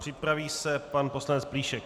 Připraví se pan poslanec Plíšek.